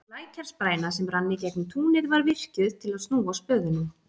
Lækjarspræna, sem rann í gegnum túnið, var virkjuð til að snúa spöðunum.